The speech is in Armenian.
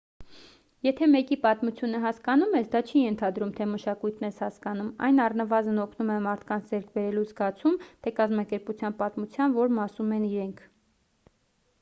եթե մեկի պատմությունը հասկանում ես դա չի ենթադրում թե մշակույթն ես հասկանում այն առնվազն օգնում է մարդկանց ձեռք բերելու զգացում թե կազմակերպության պատմության որ մասում են իրենք